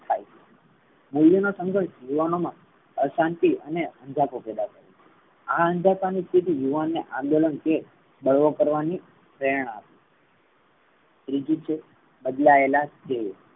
થઇ છે. મૂલ્યો નો સંઘર્ષ યુવાનો મા અશાંતિ અને અંજપો પૈદા કરે છે. આ અંજપા ની સ્તિથી યુવાનો ને આંદોલન કે બળવો કરવાની પ્રેરણા આપે છે. ત્રીજું છે બદલાયેલા